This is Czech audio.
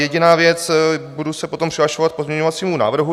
Jediná věc, budu se potom přihlašovat k pozměňovacímu návrhu.